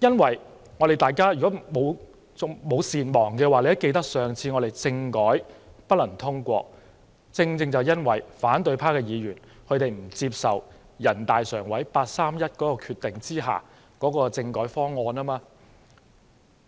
如果大家不是善忘的人，也會記得上次政改不能通過，正正因為反對派議員不接受人大常委會八三一決定的政改方案，